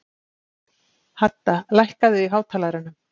Hadda, lækkaðu í hátalaranum.